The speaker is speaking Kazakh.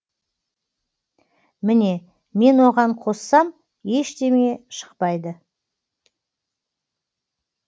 міне мен оған қоссам ештеңе шықпайды